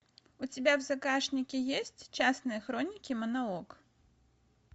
у тебя в загашнике есть частные хроники монолог